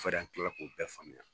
Fɛ de an kilala k'o bɛɛ faamuya.